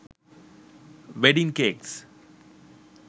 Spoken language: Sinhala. wedding cakes